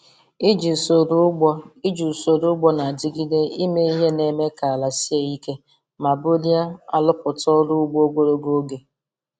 Iji usoro ugbo Iji usoro ugbo na-adigide eme ihe na-eme ka ala sie ike ma bulie arụpụta ọrụ ugbo ogologo oge.